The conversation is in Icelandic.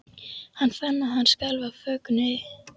Hann fann að hann skalf af fögnuði.